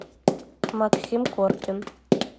максим коркин